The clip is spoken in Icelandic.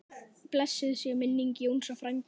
Blessuð sé minning Jónsa frænda.